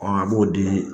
a b'o di